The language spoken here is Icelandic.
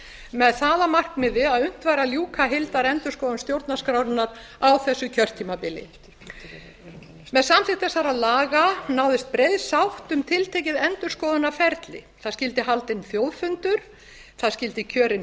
með það að markmiði að unnt væri að ljúka heildarendurskoðun stjórnarskrárinnar á þessu kjörtímabili með samþykkt þessara laga náðist breið sátt um tiltekið endurskoðunarferli það skyldi haldinn þjóðfundur það skyldi kjörin